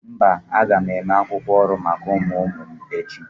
Mba, aga m eme akwukwo ọrụ maka ụmụ ụmụ m echi